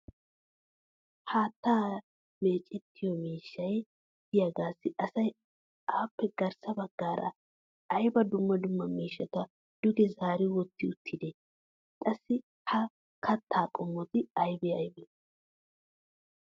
Haattaa meecettiyo miishshay diyaagaassi asay appe garssa bagaara ayba dumma dumma miishshata duge zaari wotti uttidee? Qassi ha kattaa qommoti aybbe aybbee?